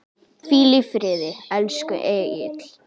Hvíl í friði, elsku Egill.